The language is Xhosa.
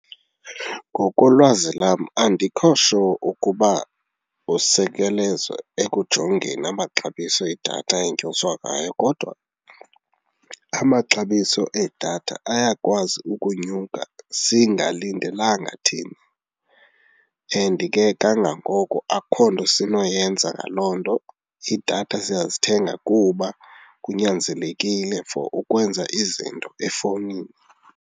Ngokolwazi lam andikho sure ukuba usekelezwa ekujongeni amaxabiso edatha enyuswa ngayo kodwa amaxabiso edatha ayakwazi ukunyuka singalindelanga thina and ke kangangoko akukho nto sinoyenenza ngaloo nto. Iidatha siyazithenga kuba kunyanzelekile for ukwenza izinto efowunini.